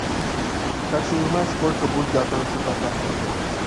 хочу узнать сколько будет готовиться заказ в отеле